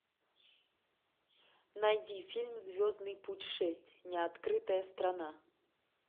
найди фильм звездный путь шесть неоткрытая страна